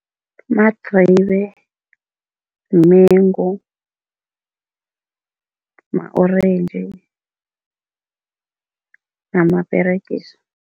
Madribe, mengu, ma-orentji namaperegisi.